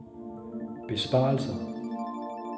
besparelser